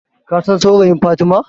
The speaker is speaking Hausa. Kasan saurayin Fatima?